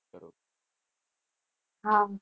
હા